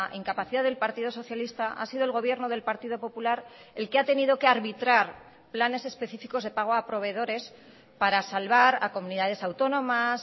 incapacidad del partido socialista ha sido el gobierno del partido popular el que ha tenido que arbitrar planes específicos de pago a proveedores para salvar a comunidades autónomas